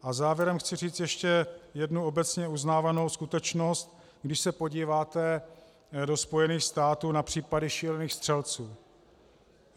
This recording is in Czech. A závěrem chci říct ještě jednu obecně uznávanou skutečnost, když se podíváte do Spojených států na případy šílených střelců.